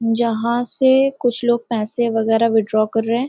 जहाँ से कुछ लोग पैसे वगैरह विथड्रॉ कर रहे हैं।